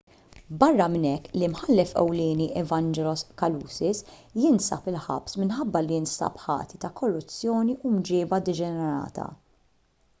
barra minn hekk l-imħallef ewlieni evangelos kalousis jinsab il-ħabs minħabba li nstab ħati ta' korruzzjoni u mġieba deġenerata